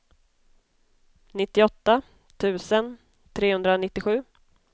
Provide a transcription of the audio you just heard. nittioåtta tusen trehundranittiosju